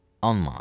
10 manat.